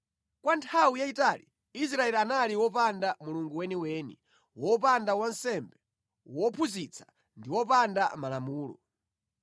Kwa nthawi yayitali Israeli anali wopanda Mulungu weniweni, wopanda wansembe wophunzitsa ndi wopanda malamulo.